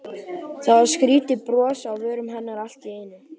Það var skrýtið bros á vörum hennar allt í einu.